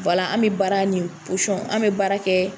O la an be baara ni an be baara kɛ